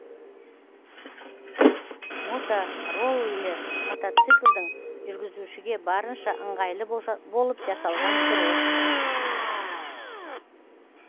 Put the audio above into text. мотороллер мотоциклдің жүргізушіге барынша ыңғайлы болып жасалған түрі